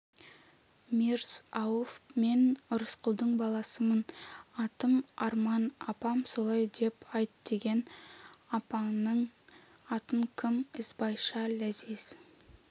мирз-ауф мен рысқұлдың баласымын атым арман апам солай деп айт деген апаңның аты кім ізбайша ләзиз